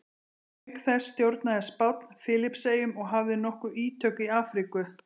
auk þessa stjórnaði spánn filippseyjum og hafði nokkur ítök í afríku